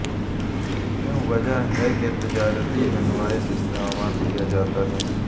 کیوں وجہ ہے کہ تجارتی انوائس استعمال کیا جاتا ہے